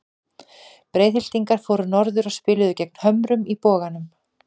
Breiðhyltingar fóru norður og spiluðu gegn Hömrunum í Boganum.